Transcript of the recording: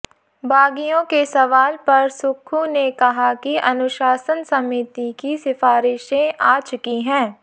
बागियों के सवाल पर सुक्खू ने कहा कि अनुशासन समिति की सिफारिशें आ चुकी हैं